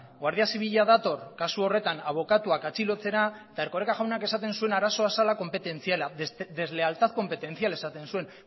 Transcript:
guardia zibila dator kasu horretan abokatuak atxilotzera eta erkoreka jaunak esaten zuen arazoa zela konpetentziala deslealtad competencial esaten zuen